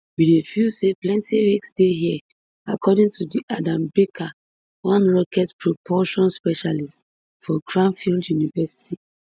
we dey feel say plenti risks dey hia according to dr adam baker one rocket propulsion specialist for cranfield university